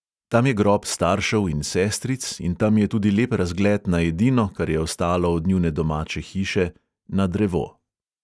Tam je grob staršev in sestric in tam je tudi lep razgled na edino, kar je ostalo od njune domače hiše, na drevo.